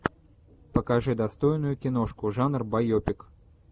покажи достойную киношку жанр байопик